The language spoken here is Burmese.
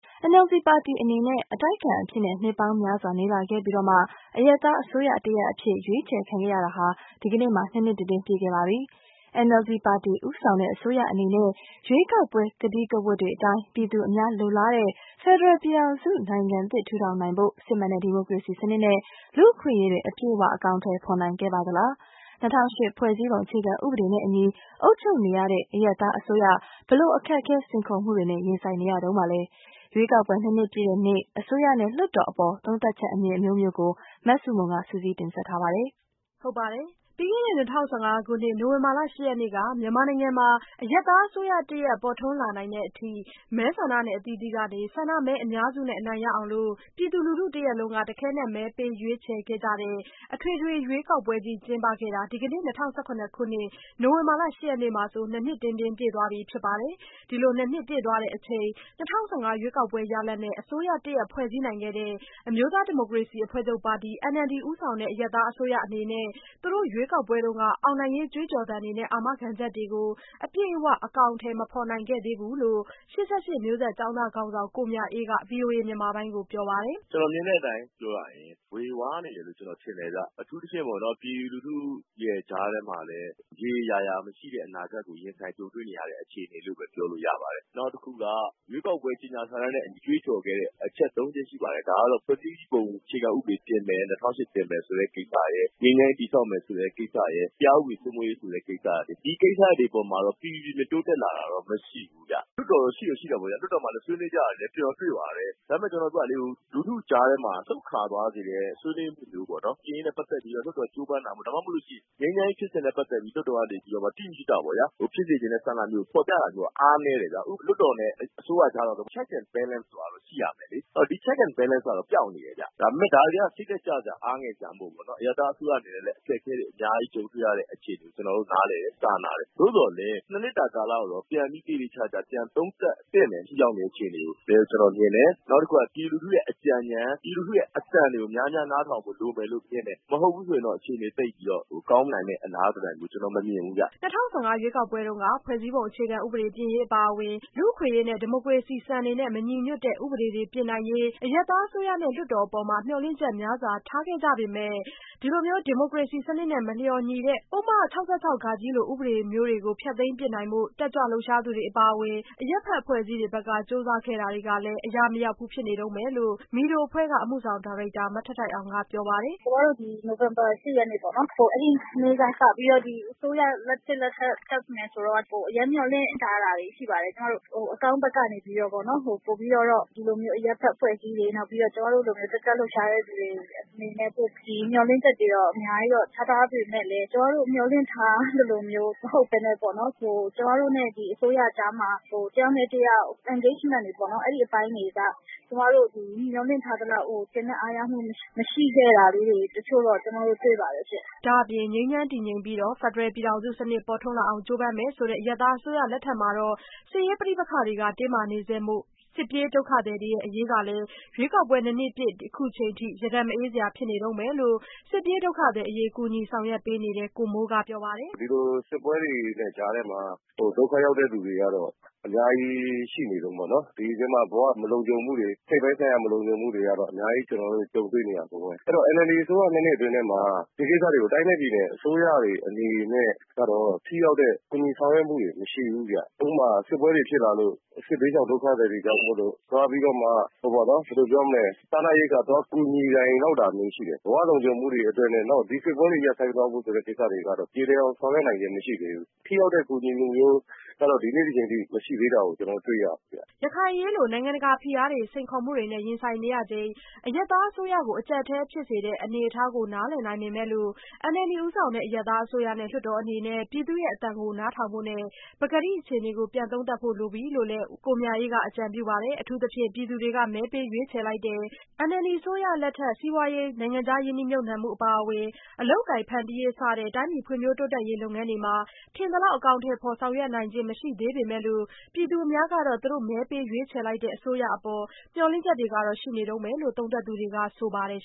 NLD ပါတီအနေနဲ့ အတိုက်အခံအဖြစ်နဲ့ နှစ်ပေါင်းများစွာနေလာခဲ့ပြီးမှ အရပ်သားအစိုးရ တရပ်အဖြစ် ရွေးချယ်ခံခဲ့ရတာဟာ ဒီကနေ့မှာ နှစ်နှစ်တင်းတင်း ပြည့်ခဲ့ပါပြီ။ NLD ပါတီဦးဆောင်တဲ့ အစိုးရအနေနဲ့ ရွေးကောက်ပွဲကတိကဝတ်တွေအတိုင်း ပြည်သူအများလိုလားတဲ့ ဖက်ဒရယ်ပြည်ထောင်စုနိုင်ငံသစ်ထူထောင်နိုင်ဖို့ စစ်မှန်တဲ့ဒီမိုကရေစီစနစ်နဲ့ လူ့အခွင့်အရေးတွေ အပြည့်အဝ အကောင်အထည်ဖော်နိုင်ခဲ့ပါသလား။ ၂၀၀၈ ဖွဲ့စည်းပုံအခြေခံဥပဒေနဲ့အညီ အုပ်ချုပ်နေရတဲ့ အရပ်သားအစိုးရ ဘယ်လိုအခက်အခဲစိန်ခေါ်မှုတွေနဲ့ ရင်ဆိုင်နေရတုန်းပါလဲ- ရွေးကောက်ပွဲနှစ်နှစ်ပြည့်တဲ့နေ့ အစိုးရနဲ့လွှတ်တော်အပေါ် သုံးသပ်ချက်အမြင်အမျိုးမျိုးကို မဆုမွန်က စုစည်းတင်ပြထားပါတယ်။ ပြီးခဲ့တဲ့ ၂၀၁၅ခုနှစ် နိုဝင်ဘာလ ၈ရက်နေ့က မြန်မာနိုင်ငံမှာ အရပ်သားအစိုးရတရပ် ပေါ်ထွန်းလာနိုင်တဲ့အထိ မဲဆန္ဒနယ်အသီးသီးကနေ ဆန္ဒမဲအများစုနဲ့ အနိုင်ရအောင်လို့ ပြည်သူလူထုတရပ်လုံးက တခဲနက်မဲပေးရွေးချယ်ခဲ့ကြတဲ့ အထွေထွေရွေးကောက်ပွဲကြီး ကျင်းပခဲ့တာ ဒီကနေ့ ၂၀၁၇ခုနှစ် နိုဝင်ဘာလ ၈ရက်နေ့မှာဆို နှစ်နှစ်-တင်းတင်းပြည့်သွားပြီဖြစ်ပါတယ်။ ဒီလိုနှစ်နှစ်ပြည့်သွားချိန် ၂၀၁၅ ရွေးကောက်ပွဲရလဒ်နဲ့ အစိုးရတရပ် ဖွဲ့စည်းနိုင်ခဲ့တဲ့ အမျိုးသားဒီမိုကရေစီအဖွဲ့ချုပ်ပါတီ NLD ဦးဆောင်တဲ့ အရပ်သားအစိုးရ အနေနဲ့ သူတို့ ရွေးကောက်ပွဲတုန်းက အောင်နိုင်ရေး ကြွေးကြော်သံတွေနဲ့ အာမခံချက်တွေကို အပြည့်အဝ အကောင်အထည်မဖော်နိုင်ခဲ့သေးဘူးလို့ ၈၈မျိုးဆက်ကျောင်းသားခေါင်းဆောင် ကိုမြအေးက ဗွီအိုအေမြန်မာပိုင်းကိုပြောပါတယ်။ “ကျနော်မြင်တဲ့အတိုင်းပြောရရင် ေ၀ဝါးနေတယ်လို့ ကျနော်ထင်တယ်ခင်ဗျ အထူးသဖြင့်ပေါ့နော် ပြည်သူလူထုကြားထဲမှာလည်း ရေရေရာရာမရှိတဲ့ အနာဂတ်ကို ရင်ဆိုင်ကြုံတွေ့နေရတဲ့အခြေအနေလို့ ပြောလို့ရပါတယ်။ နောက်တခုက ရွေးကောက်ပွဲကြေညာစာတန်းနဲ့ ကြွေးကြော်ခဲ့တဲ့ အချက် ၃ ချက်ရှိပါတယ်။ ဒါကတော့ ဖွဲ့စည်းပုံအခြေခံဥပဒေပြင်မယ် ၂၀၀၈ ပြင်မယ်ဆိုတဲ့ ကိစ္စရယ်၊ ငြိမ်းချမ်းရေး တည်ဆောက်မယ်ဆိုတဲ့ ကိစ္စရယ်၊ တရားဥပဒေစိုးမိုးရေးဆိုတဲ့ ကိစ္စရပ်တွေ ဒီကိစ္စတွေပေါ်မှာတော့ ပီပီပြင်ပြင်တိုးတက်လာတာတွေတော့မရှိဘူးခင်ဗျ။ လွှတ်တော်တော့ ရှိတာပေါ့ဗျာ လွှတ်တော်မှာလည်းဆွေးနွေးကြတာတွေလည်း ကျနော်တွေ့ပါတယ်။ ဒါပေမယ့် ကျနော်ပြောတာလေ လူထုကြားထဲမှာ လှုပ်ခါသွားစေတဲ့ ဆွေးနွေးမှုမျိုးပေါ့နော် ပြင်ရေးနဲ့ ပတ်သက်ပြီးတော့ လွှတ်တော်ကြိုးပမ်းတာ ၊ ငြိမ်းချမ်းရေးဖြစ်စဉ်ကနေပြီးတော့ လွှတ်တော်က တိတိကျကျ ဖြစ်စေချင်တဲ့ ဆန္ဒမျိုးဖော်ပြတာမျိုးအားနည်းတယ်။ လွှတ်တော်နဲ့ အစိုးရကြား Check and Balance ဆိုတာတော့ရှိရမယ်လေ။ ဒီ အစိုးရကြား Check and Balance ဆိုတာတော့ ပျောက်နေတယ်။ ဒါပေမယ့် ဒါတွေက စိတ်ဓါတ်ကျစရာ၊ အားငယ်စရာတော့မဟုတ်ဘူးပေါ့နော် အရပ်သားအစိုးရအနေနဲ့လည်း အခက်အခဲတွေအခြေအနေတွေကျနော်တို့ နားလည်တယ်၊ စာနာတယ်။ ၂ နှစ်တာကာလကိုတော့ ပြန်ပြီးသေသေချာချာပြန်သုံးသပ်သင့်တယ် ဒီအခြေအနေကို လို့ ကျနော်မြင်တယ်။ ပြည်သူလူထုရဲ့အကြံဉာဏ် ပြည်သူလူထုရဲ့အသံကို များများနားထောင်ဖို့လိုမယ်လို့ မြင်တယ်။ မဟုတ်ဘူးဆိုရင်တော့ အခြေအနေသိပ်ကောင်းနိုင်မယ့် အလားသဏ္ဍန်မျိုး ကျနော်မမြင်ဘူးခင်ဗျ။” ၂၀၁၅ ရွေးကောက်ပွဲတုန်းက ဖွဲ့စည်းပုံဥပဒေပြင်ရေးအပါအဝင် လူ့အခွင့်အရေး ဒီမိုကရေစီစံတွေနဲ့ မညီညွတ်တဲ့ဥပဒေတွေပြင်နိုင်ရေး အရပ်သားအစိုးရနဲ့လွှတ်တော်အပေါ် မျှော်လင့်ချက်များစွာ ထားခဲ့ကြပေမဲ့ ဒီမိုကရေစီစနစ်နဲ့ မလျော်ညီတဲ့ ပုဒ်မ ၆၆ လို ဥပဒေလိုမျိုးတွေကို ဖျက်သိမ်းပစ်နိုင်ဖို့ တက်ကြွလှုပ်ရှားသူတွေအပါအဝင် အရပ်ဖက်အဖွဲ့အစည်းတွေဘက်က ကြိုးစားခဲ့တာတွေကလည်း အရာမရောက်ဘူးဖြစ်နေတုန်းပဲလို့လည်း MEDO အဖွဲ့က အမှုဆောင်ဒါရိုက်တာ မထိုက်ထိုက်အောင်က ပြောပါတယ်။ “ကျမတို့ နိုဝင်ဘာ ၈ ရက်နေ့ပေါ့ အဲဒီနေ့ကစပြီးတော့ ဒီအစိုးရသစ် တက်မယ်ဆိုတော့ အရမ်းမျှော်လင့်ထားတာတွေ ရှိပါတယ် ကျမတို့ အကောင်းဘက်ကနေပြီးတော့ ပိုပြီးတော့ ဒီလိုမျိုးအရပ်ဘက်အဖွဲ့အစည်းတွေ ၊ နောက်ပြီးတော့ ကျမတို့လိုမျိုး တက်ကြွလှုပ်ရှားတဲ့သူတွေအနေနဲ့ မျှော်လင့်ချက်တွေကတော့ အများကြီးတော့ ထားထားပေမယ့်လည်း ကျမတို့မျှော်လင့်ထားသလိုမျိုးမဟုတ်ပဲနဲ့ပေါ့နော် ၊ ကျမတို့နဲ့ အစိုးရကြားမှာ တယောက်နဲ့တယောက် engagement တွေပေါ့နော် ၊ အဲဒီအပိုင်းတွေက ကျမတို့ မျှော်လင့်ထားသလောက် ကျေနပ်အားရမှု မရှိခဲ့တာလေးတွေ တချို့တော့ ကျမတို့ တွေ့ပါတယ်။” ဒါ့အပြင် ငြိမ်းချမ်းတည်ငြိမ်ပြီးတော့ ဖက်ဒရယ်ပြည်ထောင်စုစနစ် ပေါ်ထွန်းလာအောင်ကြိုးပမ်းမယ်ဆိုတဲ့ အရပ်သားအစိုးရလက်ထက်မှာတော့ စစ်ရေးပဋိပက္ခတွေက တင်းမာနေဆဲမို့ စစ်ပြေးဒုက္ခသည်တွေအရေး ကလည်း ရွေးကောက်ပွဲနှစ်နှစ်ပြည့်နေ့ အခုအချိန်အထိ ရတက်မအေးစရာဖြစ်နေတုန်းပဲလို့ စစ်ပြေးဒုက္ခသည်တွေအရေး ကူညီဆောင်ရွက်ပေးနေတဲ့ ကိုမိုးကပြောပါတယ်။ “ဒီလိုစစ်ပွဲတွေနဲ့ ကြားထဲမှာ ဒုက္ခရောက်တဲ့သူတွေကတော့ အများကြီးှရှိနေတုန်းပဲပေါ့နော်၊ ဒီအထဲမှာ ဘဝမလုံခြုံမှုတွေ၊ စိတ်ပိုင်းဆိုင်ရာမလုံခြုံမှုတွေ ကအများကြီးရှိနေတုန်းပဲ အဲဒီတော့ NLD အစိုးရ ၂ နှစ်အတွင်းမှာ ဒီကိစ္စတွေကို တိုင်းနဲ့ပြည်နယ်အစိုးရတွေ အနေနဲ့ကတော့ ထိရောက်တဲ့ ကူညီဆောင်ရွက်မှုတွေမရှိဘူး။ ဥပမာ စစ်ပွဲတွေဖြစ်လာလို့ စစ်ဘေးရှောင်ဒုက္ခသည်တွေကြောင့်မို့လို့ သွားပြီးတော့မှ ဘယ်လိုပြောမလဲ စားနပ်ရိက္ခာသွားကူညီနိုင်လောက်တာမျိုးရှိတယ်။ ဘဝလုံခြုံမှုတွေအတွက်နဲ့ နောက်ဒီစစ်ပွဲတွေ ရပ်သွားဖို့ဆိုတဲ့ကိစ္စကတော့ ပြေလည်အောင်ဆောင်ရွက်နိုင်စွမ်းမရှိဘူး။ ထိရောက်တဲ့ကူညီမှုမျိုးကတော့ ဒီကနေ့ ဒီအချိန်အထိ မရှိသေးတာကို ကျနော်တို့ တွေ့ရတယ်ခင်ဗျ။” ရခိုင်အရေးလို နိုင်ငံတကာဖိအားတွေ စိန်ခေါ်မှုတွေ ရင်ဆိုင်နေရတဲ့အချိန် အရပ်သားအစိုးရ အကျပ်အတည်း ဖြစ်နေတဲ့ အနေအထားကို နားလည်နိုင်ပေမဲ့လို့ NLD ဦးဆောင်တဲ့ အရပ်သားအစိုးရနဲ့ လွှတ်တော်အနေနဲ့ ပြည်သူ့အသံကို နားထောင်ဖို့နဲ့ ပကတိအခြေအနေကို ပြန်သုံးသပ်ဖို့လိုပြီလို့လည်း ကိုမြအေးက အကြံပြုတာပါ။ အထူးသဖြင့် ပြည်သူတွေက မဲပေးရွေးချယ်လိုက်တဲ့ NLD အစိုးရလက်ထက် စီးပွားရေး၊ နိုင်ငံခြားရင်းနှီးမြှုပ်နှံမှုအပါအဝင် အလုပ်အကိုင်ဖန်တီးနိုင်ရေးစတဲ့ တိုင်းပြည်ဖွံ့ဖြိုးတိုးတက်ရေး လုပ်ငန်းတွေ မှာ ထင်သလောက် အကောင်အထည်ဖော်ဆောင်ရွက်ခြင်းမရှိနိုင်သေးပေမဲ့လို့ ပြည်သူအများကတော့ သူတို့မဲပေးရွေးချယ်လိုက်တဲ့ အစိုးရအပေါ် မျှော်လင့်ချက်ကတော့ရှိနေတုန်းပဲလို့ သုံးသပ်သူတွေက ဆိုပါတယ်